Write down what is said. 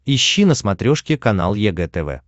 ищи на смотрешке канал егэ тв